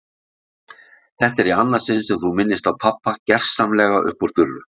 Þetta er í annað sinn sem þú minnist á pabba gersamlega upp úr þurru.